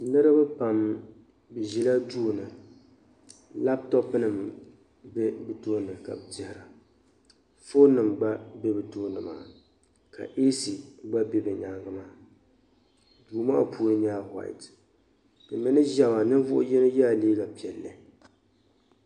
Niriba pam bɛ Ʒila duuni laptorpinima m-be bɛ tooni ka bɛ tehari a fonima gba be bɛ tooni maa ka "AC" gba be bɛ nyaaŋa maa duu maa puuni nyɛla "white" ti mii ni Ʒiya maa niŋvuhi yini yɛla liiga piɛlli.